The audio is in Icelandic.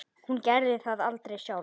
Hún gerði það aldrei sjálf.